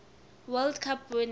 world cup winning